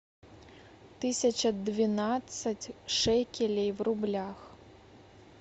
тысяча двенадцать шекелей в рублях